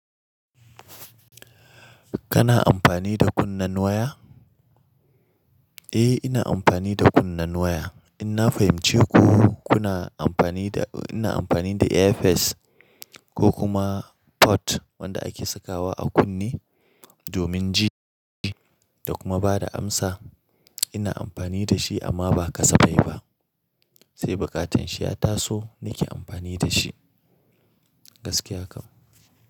Kana amfani da kunnen waya? Eh, ina amfani da kunnen waya. Ina fahimce ku kuna amfani da, ina amfani da earpiece ko kuma pod wanda ake sakawa a kunne domin ji da kuma bada amsa. Ina amfani da shi amma ba kasafai ba. Sai bukatan shi ya taso, nake amfani da shi gaskiya kam.